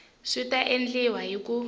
swi ta endliwa hi ku